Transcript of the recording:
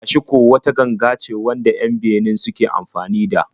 Ashiko wata irin ganga ce wanda 'yan Benin suke anfani da.